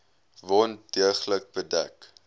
wond deeglik bedek